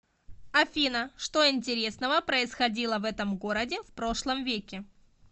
афина что интересного происходило в этом городе в прошлом веке